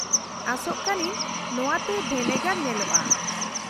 -ᱟᱥᱚᱜ ᱠᱟᱹᱱᱟᱹᱧ ᱱᱚᱶᱟ ᱛᱮ ᱵᱷᱮᱱᱮᱜᱟᱨ ᱧᱮᱞᱚᱜᱼᱟ ᱾